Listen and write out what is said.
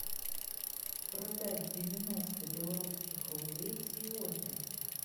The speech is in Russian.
продать девяносто белорусских рублей сегодня